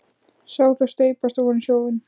Sá þau steypast ofan í sjóinn.